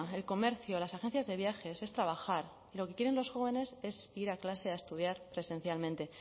el comercio las agencias de viajes es trabajar y lo que quieren los jóvenes es ir a clase a estudiar presencialmente